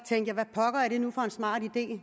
det